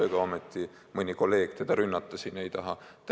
Ega ometi mõni kolleeg teda siin rünnata ei taha?